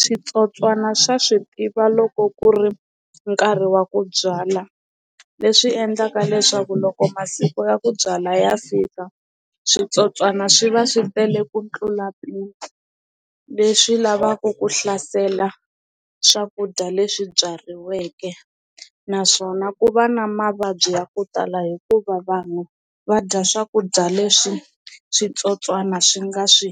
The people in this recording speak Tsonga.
Switsotswana swa swi tiva loko ku ri nkarhi wa ku byala leswi endlaka leswaku loko masiku ya ku byala ya fika switsotswana swi va swi tele ku tlula mpimo leswi lavaku ku hlasela swakudya leswi byariweke naswona ku va na mavabyi ya ku tala hikuva vanhu va dya swakudya leswi switsotswana swi nga swi